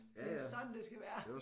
Det er sådan det skal være